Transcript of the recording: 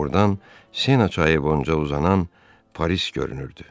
Buradan Sena çayı boyunca uzanan Paris görünürdü.